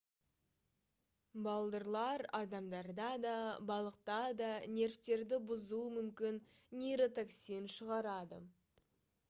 балдырлар адамдарда да балықта да нервтерді бұзуы мүмкін нейротоксин шығарады